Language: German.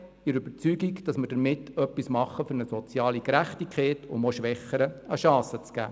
Wir sind der Überzeugung, dass wir damit etwas für eine soziale Gerechtigkeit tun, um auch Schwächeren eine Chance zu geben.